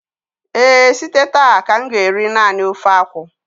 ee, site taa ka m ga-eri nani ofe akwụ